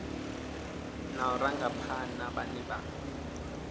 na u rangaphana vhane vha